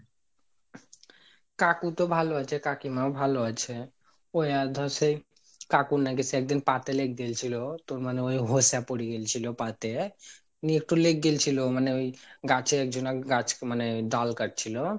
কাকু তো ভালো আছে কাকিমা ও ভালো আছে ওই এর ধর সেই কাকুর নাকি সে একদিন পা তে লেগগেলছিলো তোর মানে ওই হোসা পরে গেলছিলো পা তে নি একটু লেগ গেলছিল মানে ওই গাছে একজন মানে ওই ডাল কাটছিল